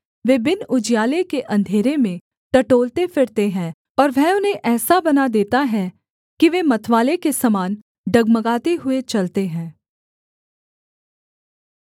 वे बिन उजियाले के अंधेरे में टटोलते फिरते हैं और वह उन्हें ऐसा बना देता है कि वे मतवाले के समान डगमगाते हुए चलते हैं